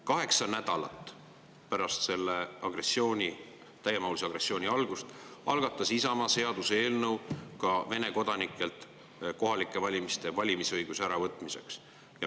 Kaheksa nädalat pärast selle täiemahulise agressiooni algust algatas Isamaa seaduseelnõu ka Vene kodanikelt kohalikel valimistel valimisõiguse äravõtmiseks.